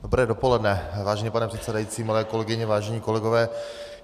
Dobré dopoledne, vážený pane předsedající, milé kolegyně, vážení kolegové.